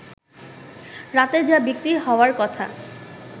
রাতে যা বিক্রি হওয়ার কথা